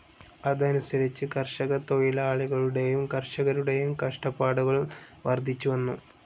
അതനുസരിച്ച് കർഷകത്തൊഴിലാളികളുടേയും കർഷകരുടേയും കഷ്ടപ്പാടുകൾ വർദ്ധിച്ചുവന്നു.